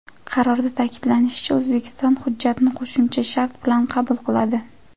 Qarorda ta’kidlanishicha, O‘zbekiston hujjatni qo‘shimcha shart bilan qabul qiladi.